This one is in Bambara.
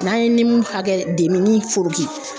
N'an ye ni min hakɛ nin foroki